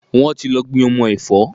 Wọ́n ti lọ gbin ọmọ ẹ̀fọ́.